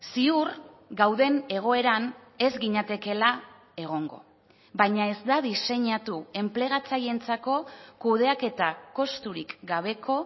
ziur gauden egoeran ez ginatekeela egongo baina ez da diseinatu enplegatzaileentzako kudeaketa kosturik gabeko